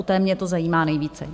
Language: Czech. U té mě to zajímá nejvíce.